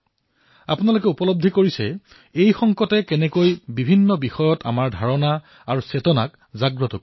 আপোনালোক সকলোৱে অনুভৱ কৰিছে যে এই সংকটে কিদৰে আমাক বিভিন্ন বিষয়ে আমাৰ চেতনা জাগ্ৰত কৰি তুলিছে